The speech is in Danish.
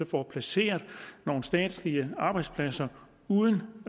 får placeret nogle statslige arbejdspladser uden